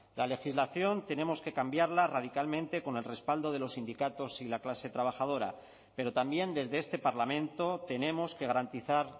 la legislación tenemos que cambiarla radicalmente con el respaldo de los sindicatos y la clase trabajadora pero también desde este parlamento tenemos que garantizar